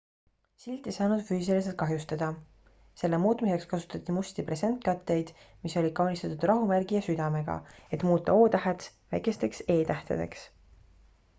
silt ei saanud füüsiliselt kahjustada selle muutmiseks kasutati musti presentkatteid mis olid kaunistatud rahumärgi ja südamega et muuta o-tähed väikesteks e-tähtedeks